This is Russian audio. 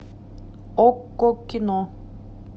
окко кино